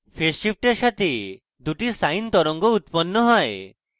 phase শিফটের সাথে দুটি sine তরঙ্গ উত্পন্ন হয়